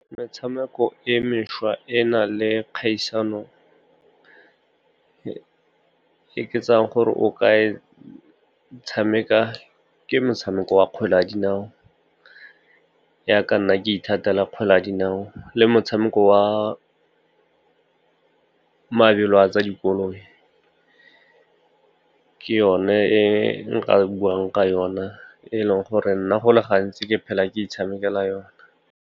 Metshameko e mešwa e na le kgaisano e ke tsayang gore o ka e tshameka ke motshameko wa kgwele ya dinao, yaka nna ke ithatela kgwele ya dinao le motshameko wa mabelo a tsa dikoloi. Ke yone e nka buang ka yona, e eleng gore nna go le gantsi ke phela ke itshamekela yona.